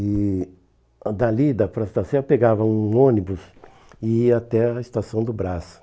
E dali, da Praça da Sé, eu pegava um ônibus e ia até a Estação do Brás.